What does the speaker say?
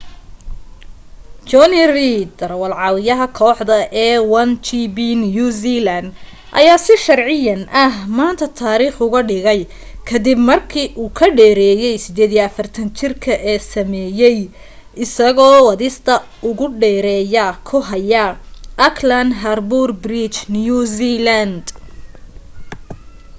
jonny reid darawaal-caawiyaha kooxda a1gp new zealand ayaa si sharciyan ah maanta taariikh uga dhigay ka dib markii u ka dheereeyay 48-jirka ee sameeyay isagoo wadista ugu dheereeya ku haya auckland harbour bridge new zealand